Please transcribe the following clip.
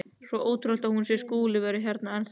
Svo ótrúlegt að hún skuli vera hér enn þá.